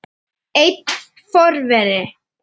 Einn forveri